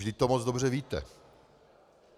Vždyť to moc dobře víte.